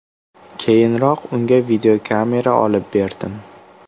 Keyinroq unga videokamera olib berdim.